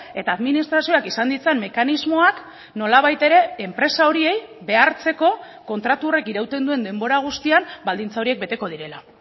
eta administrazioak izan ditzan mekanismoak nolabait ere enpresa horiei behartzeko kontratu horrek irauten duen denbora guztian baldintza horiek beteko direla